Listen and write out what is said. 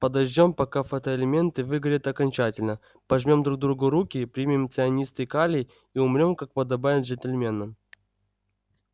подождём пока фотоэлементы выгорят окончательно пожмём друг другу руки примем цианистый калий и умрём как подобает джентльменам